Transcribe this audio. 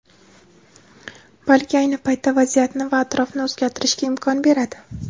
balki ayni paytda vaziyatni va atrofni o‘zgartirishga imkon beradi.